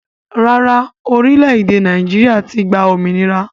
Rárá, orílè Naijiria ti gbà òmìnira